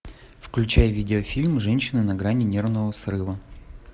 включай видеофильм женщина на грани нервного срыва